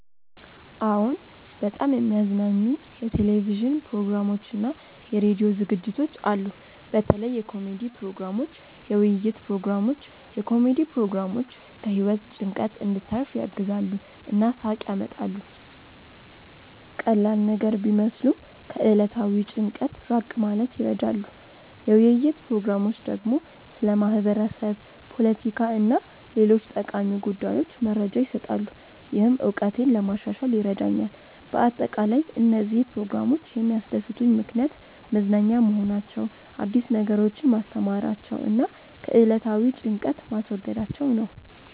አዎን፣ በጣም የሚያዝናኑኝ የቴሌቪዥን ፕሮግራሞችና የራዲዮ ዝግጅቶች አሉ። በተለይ የኮሜዲ ፕሮግራሞች፣ የውይይት ፕሮግራሞች። የኮሜዲ ፕሮግራሞች ከህይወት ጭንቀት እንድታርፍ ያግዛሉ እና ሳቅ ያመጣሉ። ቀላል ነገር ቢመስሉም ከዕለታዊ ጭንቀት ራቅ ማለት ይረዳሉ። የውይይት ፕሮግራሞች ደግሞ ስለ ማህበረሰብ፣ ፖለቲካ እና ሌሎች ጠቃሚ ጉዳዮች መረጃ ይሰጣሉ፣ ይህም እውቀቴን ለማሻሻል ይረዳኛል በአጠቃላይ፣ እነዚህ ፕሮግራሞች የሚያስደስቱኝ ምክንያት መዝናኛ መሆናቸው፣ አዲስ ነገሮችን ማስተማራቸው እና ከዕለታዊ ጭንቀት ማስወገዳቸው ነው